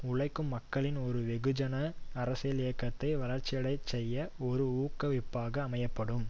உழைக்கும் மக்களின் ஒரு வெகுஜன அரசியல் இயக்கத்தை வளர்ச்சியடையச்செய்ய ஒரு ஊக்குவிப்பாக அமையபடும்